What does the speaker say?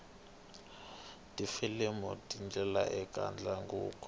tifilimu tingena ekatandzavuko